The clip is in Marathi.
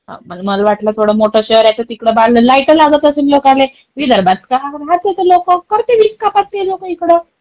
मला वाटलं एवढे मोठे शहर आहे तिकडे तर, तिकडे बाहेर लाईट लागत असेल लागत असेल लोकले. विदर्भात काय राहत्या ते लोक करतील वीज कपात ते लोक इकडे.